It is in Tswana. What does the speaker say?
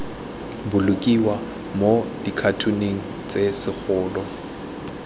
bolokiwa mo dikhatoneng tse segolo